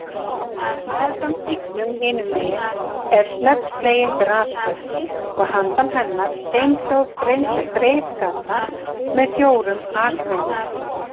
Meðfram stígnum hinumegin er snöggslegin grasflöt og handan hennar steinhljóð breiðgata með fjórum akreinum.